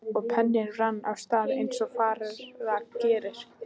Og penninn rann af stað eins og fara gerir.